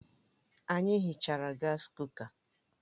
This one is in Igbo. Anyị hichara gas kuka